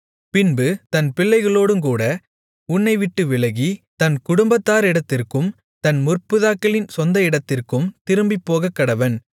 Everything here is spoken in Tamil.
பின்பு தன் பிள்ளைகளோடுங்கூட உன்னைவிட்டு விலகி தன் குடும்பத்தாரிடத்திற்கும் தன் முற்பிதாக்களின் சொந்த இடத்திற்கும் திரும்பிப்போகக்கடவன்